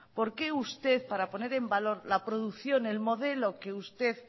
por qué usted para poner en valor la producción el modelo que usted